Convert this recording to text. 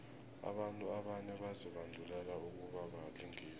abantu abanye bazibandulele ukubabalingisi